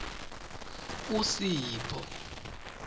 usipho